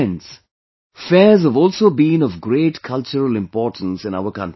Friends, fairs have also been of great cultural importance in our country